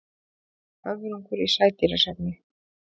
Höfrungur í sædýrasafni.